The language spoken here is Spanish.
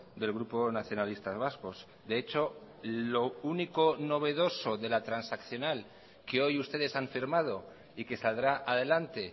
del grupo nacionalistas vascos de hecho lo único novedoso de la transaccional que hoy ustedes han firmado y que saldrá adelante